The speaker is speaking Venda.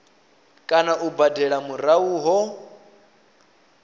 kana u badela murahu ho